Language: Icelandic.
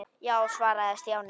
Já svaraði Stjáni.